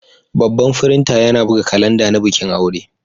Babban firinta yana buga kalanda na bikin aure.